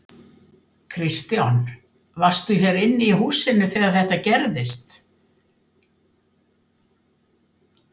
Kristján: Varstu hér inni í húsinu þegar þetta gerðist?